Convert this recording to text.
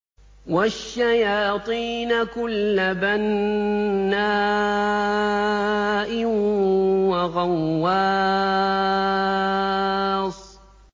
وَالشَّيَاطِينَ كُلَّ بَنَّاءٍ وَغَوَّاصٍ